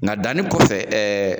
Nga danni kɔfɛ ɛɛ